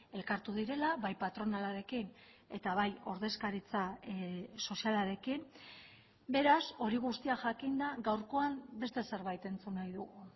elkartu direla bai patronalarekin eta bai ordezkaritza sozialarekin beraz hori guztia jakinda gaurkoan beste zerbait entzun nahi dugu